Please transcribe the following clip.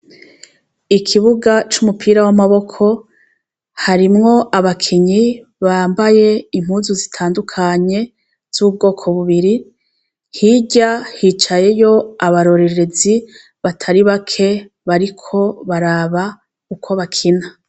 Ikibuga c'umupira w'amaboko harimwo abakenyi bambaye impuzu zitandukanye z'ubwoko bubiri hirya hicayeyo abarorerezi batari bake bariko baraba uko bakina.